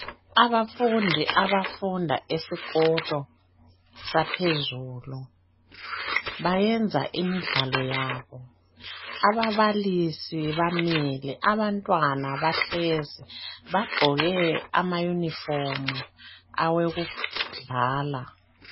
Abafundi abafunda esikolo saphezulu bayenza imidlalo yabo, ababalisi bamile, abantwana bahlezi bagqoke amayunifomu awokudlala.